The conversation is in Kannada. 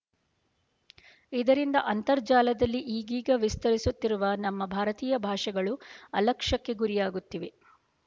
ಇದರಿಂದ ಅಂತರ್ಜಾಲದಲ್ಲಿ ಈಗೀಗ ವಿಸ್ತರಿಸುತ್ತಿರುವ ನಮ್ಮ ಭಾರತೀಯ ಭಾಷೆಗಳು ಅಲಕ್ಷ್ಯಕ್ಕೆ ಗುರಿಯಾಗುತ್ತಿವೆ